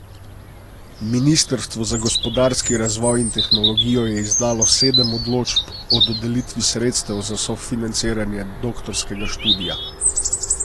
Ministrstvo za gospodarski razvoj in tehnologijo je izdalo sedem odločb o dodelitvi sredstev za sofinanciranje doktorskega študija.